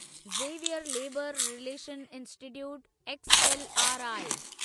Xavier labour relations institute XLRI